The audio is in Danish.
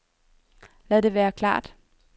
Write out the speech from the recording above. Lad det være helt klart.